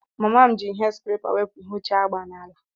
Mama m jiri ihe skrepa wepụ ihe ochie agba n'ala.